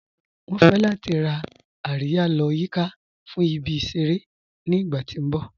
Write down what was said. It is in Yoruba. Wọn fẹ̀ lati rá àríyà lọ́ yìká fún ìbí-iṣẹ̀rẹ̀ ní ìgbà ti n bọ̀.